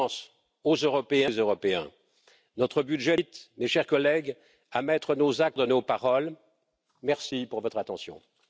Länder die Botschaft und das Signal zu senden, dass wir in der Lage sind, gemeinsam für Europa etwas zu entwickeln.